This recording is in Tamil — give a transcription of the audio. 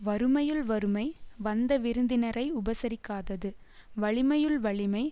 வறுமையுள் வறுமை வந்த விருந்தினரை உபசரிக்காதது வலிமையுள் வலிமை